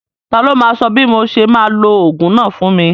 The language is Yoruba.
Ta ló máa sọ bí mo ṣe máa lo ogún náà fún mi?